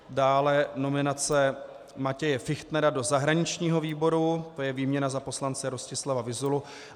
Dále nominace Matěje Fichtnera do zahraničního výboru, to je výměna za poslance Rostislava Vyzulu.